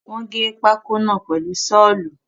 Wọ́n gé pákó náà pèlu Ṣọ́ọ̀lù